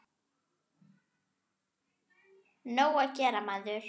Nóg að gera, maður.